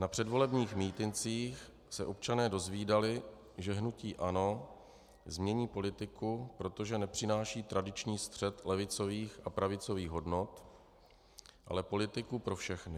Na předvolebních mítincích se občané dozvídali, že hnutí ANO změní politiku, protože nepřináší tradiční střet levicových a pravicových hodnot, ale politiku pro všechny.